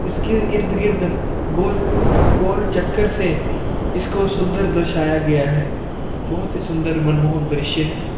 इसके इर्द गिर्द गोल गोल चक्कर से इसको सुंदर दर्शाया गया है बहुत ही सुंदर मनमोहक दृश्य है।